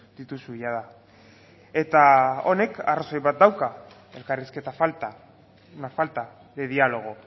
dituzu jada eta honek arrazoi bat dauka elkarrizketa falta la falta de dialogo